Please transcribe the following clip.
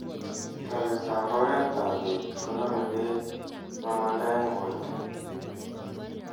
tereet ap oreet ap beet koname beek mamanda eng porto.